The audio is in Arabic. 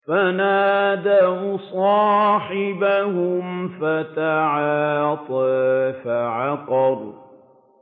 فَنَادَوْا صَاحِبَهُمْ فَتَعَاطَىٰ فَعَقَرَ